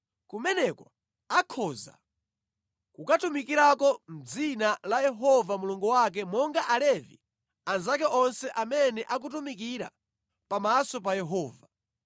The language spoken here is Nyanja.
kumeneko akhoza kukatumikirako mʼdzina la Yehova Mulungu wake monga Alevi anzake onse amene akutumikira pamaso pa Yehova.